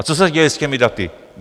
A co se děje s těmi daty?